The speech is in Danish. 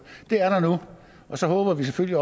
det er der nu og så håber vi selvfølgelig